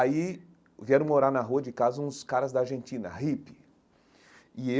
Aí vieram morar na rua de casa uns caras da Argentina, hippie e eu.